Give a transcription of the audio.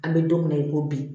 An bɛ don mina i ko bi